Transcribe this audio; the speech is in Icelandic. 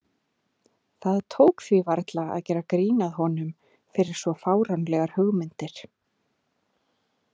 Það tók því varla að gera grín að honum fyrir svo fáránlegar hugmyndir.